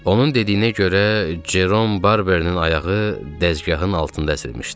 Onun dediyinə görə Cerom Barberninin ayağı dəzgahın altında əzilmişdi.